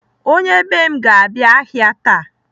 Onye be m ga-aga ahịa taa.